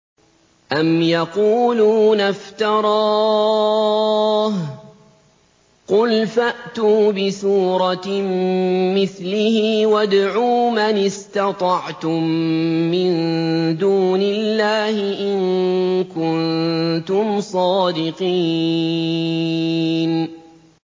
أَمْ يَقُولُونَ افْتَرَاهُ ۖ قُلْ فَأْتُوا بِسُورَةٍ مِّثْلِهِ وَادْعُوا مَنِ اسْتَطَعْتُم مِّن دُونِ اللَّهِ إِن كُنتُمْ صَادِقِينَ